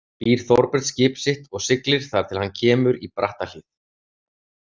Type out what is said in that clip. Býr Þorbjörn skip sitt og siglir þar til hann kemur í Brattahlíð.